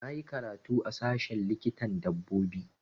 Na yi karatu a sashen likitan dabbobi